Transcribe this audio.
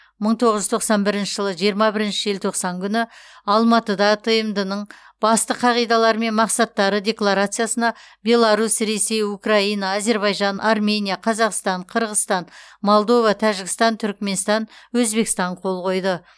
мың тоғыз жүз тоқсан бірінші жылы жиырма бірінші желтоқсан күні алматыда тмд ның басты қағидалары мен мақсаттары декларациясына беларусь ресей украина әзербайжан армения қазақстан қырғызстан молдова тәжікстан түркменстан өзбекстан қол қойды